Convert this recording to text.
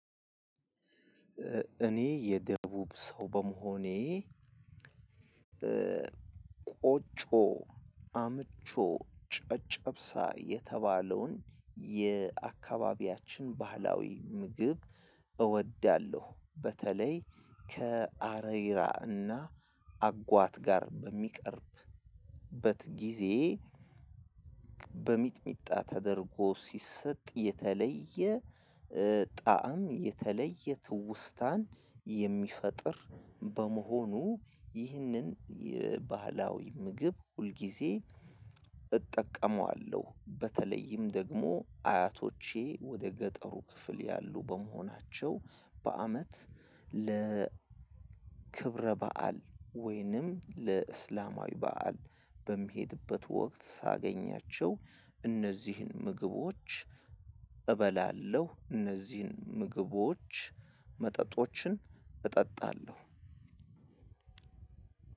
እኔ የደቡብ ሰው በመሆኔ ቆጮ፣ አምቾ፣ ጨጨብሳ የተባለውን የአካባቢያችን ባህላዊ ምግብ እወዳለሁ። በተለይ ከአሬራ እና አጓት ጋር በሚቀርብበት ጊዜ በሚጥሚጣ ተደርጎ ሲሰጥ የተለየ ጣዕም የተለየ ትውስታን የሚፈጥር በመሆኑ ይህንን ባህላዊ ምግብ ሁልጊዜ እጠቀመዋለሁ በተለይም ደግሞ አያቶቼ ወደ ገጠሩ ክፍል ያሉ በመሆናቸው በአመት ለ ክብረ በዓል ወይንም ለእስላማዊ በዓል በምሄድበት ወቅት :ሳገኛቸው እነዚህን ምግቦች እበላለሁ። እነዚህን ምግቦች መጠጦችን እጠጣለሁ